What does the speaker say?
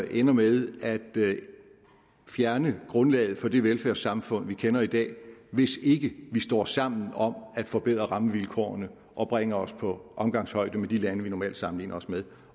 ender med at fjerne grundlaget for det velfærdssamfund vi kender i dag hvis ikke vi står sammen om at forbedre rammevilkårene og bringe os på omgangshøjde med de lande vi normalt sammenligner os med